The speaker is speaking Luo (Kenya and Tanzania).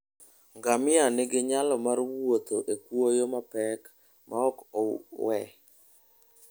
Ngamia nigi nyalo mar wuotho e kwoyo mapek maok owe.